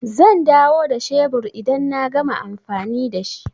Zan dawo da shebur idan na gama amfani da shi.